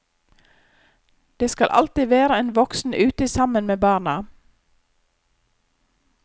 Det skal alltid være en voksen ute sammen med barna.